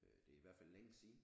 Øh det er i hvert fald længe siden